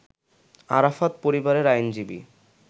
আরাফাত পরিবারের আইনজীবী